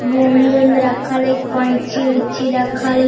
गोन्ध-वोंद रखल हई कैंची-उची रखल हई।